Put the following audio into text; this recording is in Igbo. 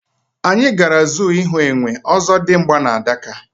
Anyị gara zoo ịhụ Enwe, Ozodimgba na Adaka